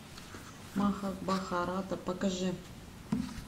махабхарата покажи